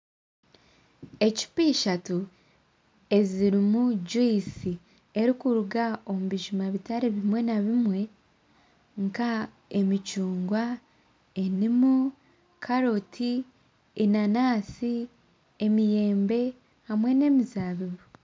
Ecupa ishatu ezirimu juyisi erikuruga omu bijuma bitari bimwe na bimwe nk'emicungwa enimu, karooti enanansi emiyembe hamwe nemizabibu